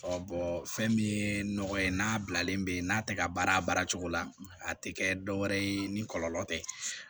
fɛn min ye nɔgɔ ye n'a bilalen bɛ n'a tɛ ka baara a baara cogo la a tɛ kɛ dɔwɛrɛ ye ni kɔlɔlɔ tɛ